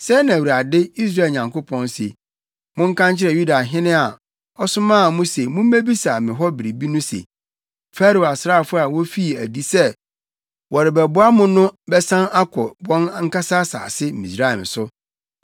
“Sɛɛ na Awurade, Israel Nyankopɔn, se: Monka nkyerɛ Yudahene a, ɔsomaa mo se mummebisa me hɔ biribi no se, ‘Farao asraafo a wofii adi sɛ wɔrebɛboa mo no bɛsan akɔ wɔn ankasa asase, Misraim so.